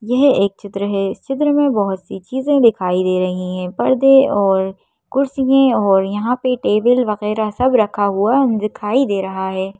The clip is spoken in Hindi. यह एक चित्र है इस चित्र में बहुत सी चीजें दिखाई दे रही हैं पर्दे और कुर्सियाँ और यहाँ पे टेबल वगैरह सब रखा हुआ दिखाई दे रहा है।